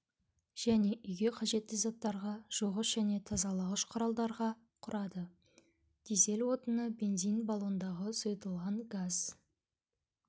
және үйге қажетті заттарға жуғыш және тазалағыш құралдарға құрады дизель отыны бензин баллондағы сұйытылған газ